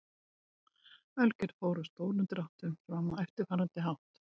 Ölgerð fór í stórum dráttum fram á eftirfarandi hátt.